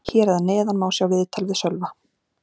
Hér að neðan má sjá viðtal við Sölva.